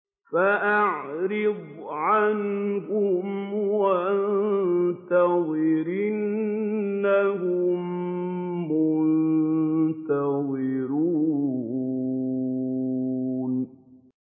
فَأَعْرِضْ عَنْهُمْ وَانتَظِرْ إِنَّهُم مُّنتَظِرُونَ